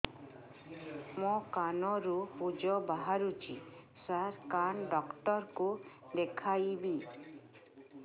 ମୋ କାନରୁ ପୁଜ ବାହାରୁଛି ସାର କାନ ଡକ୍ଟର କୁ ଦେଖାଇବି